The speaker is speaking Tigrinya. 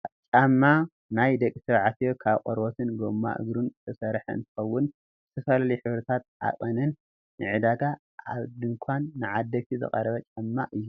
ጫማ ናይ ደቂ ተባዕትዮ ካብ ቆርበትን ጎማ እግሩን ዝተሰረሓ እንትከውን ብዝተፈላለዩ ሕብርታት ዓቀንን ንዕዳጋ ኣብ ድኳን ንዓደግቲ ዝቀረበ ጫማ እዩ።